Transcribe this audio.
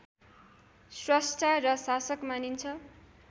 स्रष्टा र शासक मानिन्छ